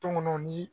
Tɔŋɔnɔ ni